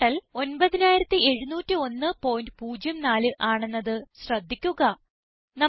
total 970104 ആണെന്നത് ശ്രദ്ധിക്കുക